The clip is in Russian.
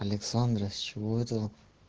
александра с чего это